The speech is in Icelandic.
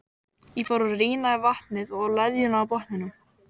Ég fór að rýna í vatnið og leðjuna á botninum.